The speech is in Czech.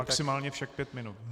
Maximálně však pět minut.